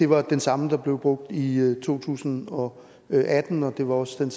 var den samme der blev brugt i to tusind og atten og det var også den